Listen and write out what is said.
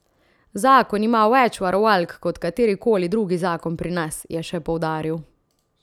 Zakon ima več varovalk, kot katerikoli drugi zakon pri nas, je še poudaril.